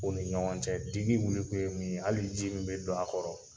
U ni ɲɔgɔn cɛ digi wili kun ye min ye, hali ji min be dɔ a kɔrɔ